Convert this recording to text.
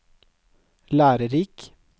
lærerik